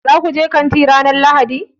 Za ku je kanti ranar Lahadi?